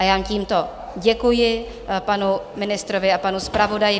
A já tímto děkuji panu ministrovi a panu zpravodaji.